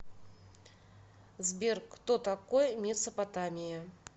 сбер кто такой месопотамия